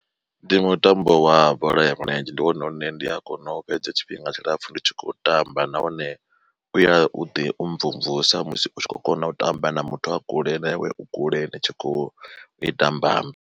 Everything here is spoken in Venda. Ndi mutambo wa bola ya milenzhe ndi wone une ndi a kona u fhedza tshifhinga tshilapfu ndi tshi khou tamba nahone u ya u ḓi mvumvusa musi u tshi kho kona u tamba na muthu a kule na iwe u kule ni tshi khou ita mbambe.